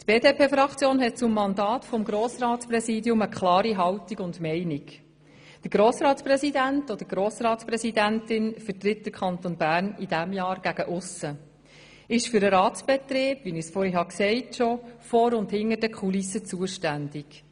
Die BDP-Fraktion hat zum Mandat des Grossratspräsidiums eine klare Haltung und Meinung: Der Grossratspräsident oder die Grossratspräsidentin vertritt den Kanton Bern in diesem Jahr gegen aussen und ist für den Ratsbetrieb – wie ich vorhin bereits erwähnt habe – vor und hinter den Kulissen zuständig.